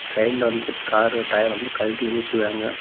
சைடுல வந்து car tyre வந்து கழட்டி வெளிய வச்சுருக்காங்க.